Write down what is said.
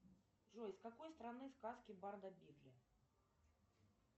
джой с какой страны сказки барда бидля